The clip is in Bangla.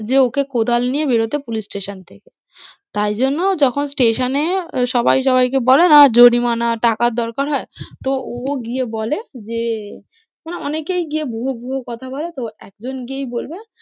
যে ওকে কোদাল নিয়ে বেরোতে police station থেকে তারজন্য যখন station এ সবাই সবাইকে বলে না জরিমানা টাকার দরকার হয়, তো ও গিয়ে বলে যে, মানে অনেকেই গিয়ে ভুয়ো ভুয়ো কথা বলে তো একজন গিয়েই বলবে।